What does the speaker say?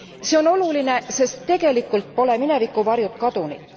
See on oluline, sest tegelikult pole mineviku varjud kadunud.